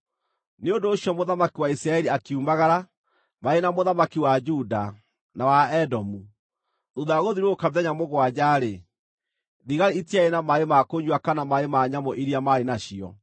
Nĩ ũndũ ũcio mũthamaki wa Isiraeli akiumagara, marĩ na mũthamaki wa Juda, na wa Edomu. Thuutha wa gũthiũrũrũka mĩthenya mũgwanja-rĩ, thigari itiarĩ na maaĩ ma kũnyua kana maaĩ ma nyamũ iria maarĩ nacio.